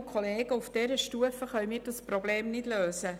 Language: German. Aber auf dieser Stufe können wir dieses Problem nicht lösen.